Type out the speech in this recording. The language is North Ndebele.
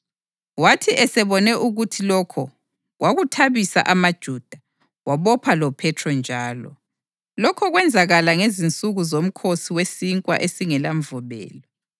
Wathi esebone ukuthi lokho kwakuwathabisa amaJuda, wabopha loPhethro njalo. Lokho kwenzakala ngezinsuku zoMkhosi weSinkwa esingelaMvubelo.